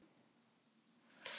Það gæti verið verra.